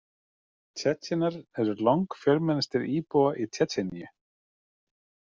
Tsjetsjenar eru langfjölmennastir íbúa í Tsjetsjeníu.